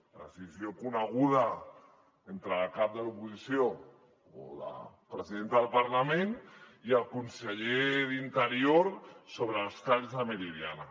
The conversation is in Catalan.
la decisió coneguda entre la cap de l’oposició o la presidenta del parlament i el conseller d’interior sobre els talls de la meridiana